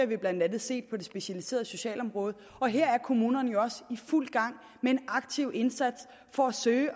vi blandt andet set på det specialiserede socialområde og her er kommunerne jo også i fuld gang med en aktiv indsats for at søge